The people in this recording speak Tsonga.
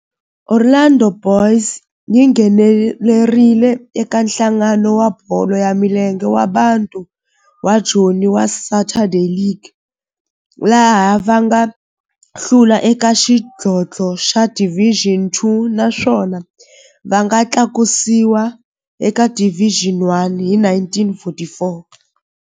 Orlando Boys yi nghenelerile eka Nhlangano wa Bolo ya Milenge wa Bantu wa Joni wa Saturday League, laha va nga hlula eka xidlodlo xa Division Two naswona va nga tlakusiwa eka Division One hi 1944.